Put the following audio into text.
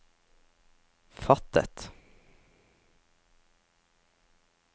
fattet